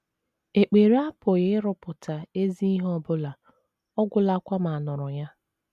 Ekpere apụghị ịrụpụta ezi ihe ọ bụla ọ gwụlakwa ma a nụrụ ya.